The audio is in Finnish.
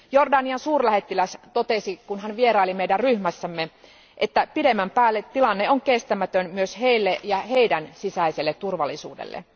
Jordanian suurlähettiläs totesi, kun hän vieraili meidän ryhmässämme, että pidemmän päälle tilanne on kestämätön myös heille ja heidän sisäiselle turvallisuudelleen.